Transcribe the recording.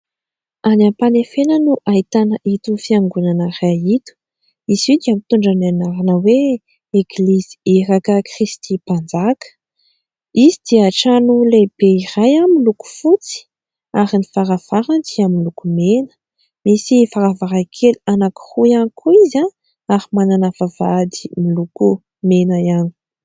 Any Ampanefena no ahitana ito fiangonana iray ito. Izy io dia mitondra ny anarana hoe : "Eglizy, Iraka Kristy Mpanjaka" ; izy dia trano lehibe iray miloko fotsy ary ny varavarany dia miloko mena, misy varavarankely anankiroa ihany koa izy ary manana vavahady miloko mena ihany.